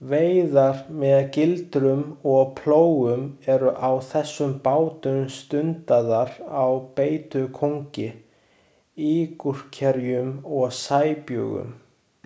Veiðar með gildrum og plógum eru á þessum bátum stundaðar á beitukóngi, ígulkerjum og sæbjúgum.